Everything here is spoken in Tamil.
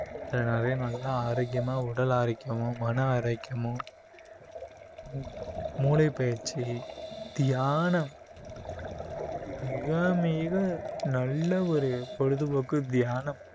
அஹ் நிறைய நல்ல ஆரோக்கியமா உடல் ஆரோக்கியமும் மன ஆரோக்கியமும் மூ~ மூளை பயிற்சி தியானம் மிக மிக நல்ல ஒரு பொழுதுபோக்கு தியானம்